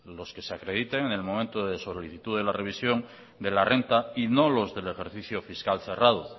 los que se acrediten en el momento de solicitud de revisión de la renta y no los del ejercicio fiscal cerrado